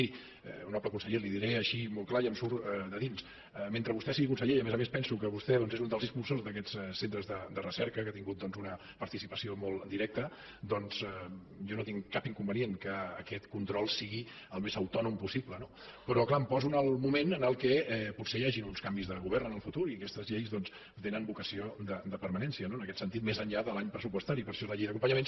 miri honorable conseller li diré així molt clar i em surt de dins mentre vostè sigui conseller i a més a més penso que vostè és un dels impulsors d’aquests centres de recerca que hi ha tingut una participació molt directa doncs jo no tinc cap inconvenient que aquest control sigui el més autònom possible no però clar em poso en el moment en què potser hi hagin uns canvis de govern en el futur i aquestes lleis doncs tenen vocació de permanència no en aquest sentit més enllà de l’any pressupostari per això la llei d’acompanyament